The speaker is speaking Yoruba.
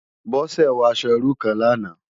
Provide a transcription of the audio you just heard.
Bose wò aṣò irú kán làná